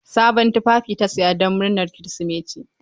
Sabon tufafi ta sa jiya don murnar Kirsimeti.